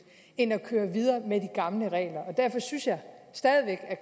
end at køre videre med de gamle regler derfor synes jeg stadig væk at